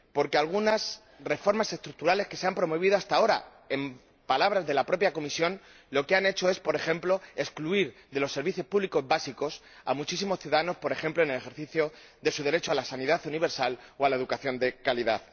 Porque algunas reformas estructurales que se han promovido hasta ahora, en palabras de la propia Comisión, lo que han hecho es, por ejemplo, excluir de los servicios públicos básicos a muchísimos ciudadanos, por ejemplo, en el ejercicio de su derecho a la sanidad universal o a la educación de calidad.